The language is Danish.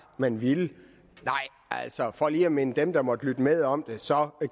at man ville nej altså for lige at minde dem der måtte lytte med om det så